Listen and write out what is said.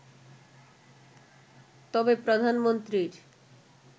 তবে প্রধানমন্ত্রীর